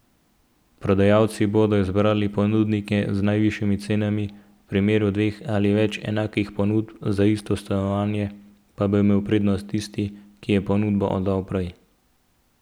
Prodajalci bodo izbrali ponudnike z najvišjimi cenami, v primeru dveh ali več enakih ponudb za isto stanovanje pa bo imel prednost tisti, ki je ponudbo oddal prej.